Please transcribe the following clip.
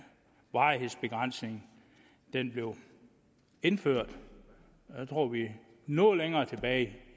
varighedsbegrænsningen blev indført noget længere tilbage